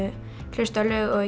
hlusta á lög og